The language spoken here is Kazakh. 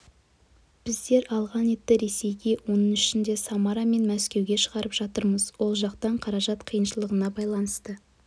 біздер алған етті ресейге оның ішінде самара мен мәскеуге шығарып жатырмыз ол жақтан қаражат қиыншылығына байланысты